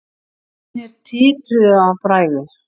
Fingurnir titruðu af bræði.